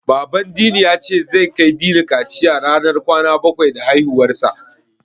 Baban Dini ya ce, zai kai Dini kaciya ranar kwana bakwai da haihuwarsa.